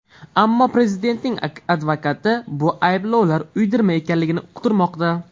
Ammo prezidentning advokati bu ayblovlar uydirma ekanligini uqtirmoqda.